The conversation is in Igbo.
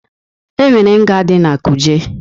E nwere nga dị na Kuje.